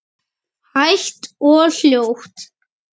Hægt og hljótt?